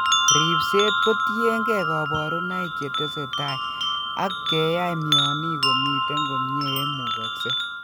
Ribseet kotiengee kaborunoik chetesetai ak keyai mionik komiten komyee yeimukoksee